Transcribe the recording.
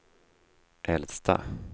äldsta